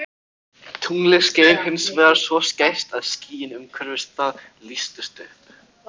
Tunglið skein hins vegar svo skært að skýin umhverfis það lýstust upp.